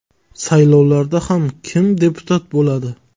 Saylovlarda ham kim deputat bo‘ladi?